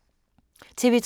TV 2